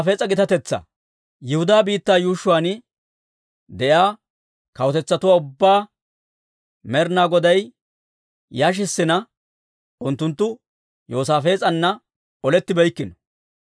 Yihudaa biittaa yuushshuwaan de'iyaa kawutetsatuwaa ubbaa Med'inaa Goday yashissina, unttunttu Yoosaafees'ana olettibeykkino.